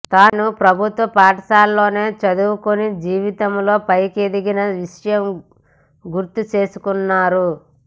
తానూ ప్రభుత్వ పాఠశాలలోనే చదువుకుని జీవితంలో పైకెదిగిన విషయం గుర్తు చేసుకున్నారు